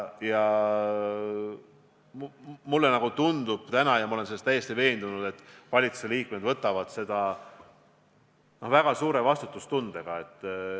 Ja mulle tundub täna ja ma olen selles täiesti veendunud, et valitsuse liikmed suhtuvad sellesse väga suure vastutustundega.